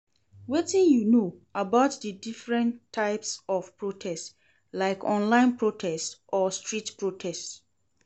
Wetin you know about di different types of protest, like online protests or street protest?